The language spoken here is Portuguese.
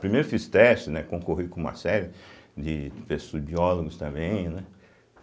Primeiro fiz teste, né, concorri com uma série de de pesso, de biólogos também, né.